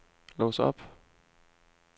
lås op